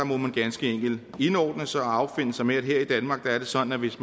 må man ganske enkelt indordne sig og affinde sig med at her i danmark er det sådan at hvis